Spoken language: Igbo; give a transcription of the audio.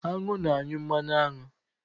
Añụ na-anyụ mmanụ aṅụ.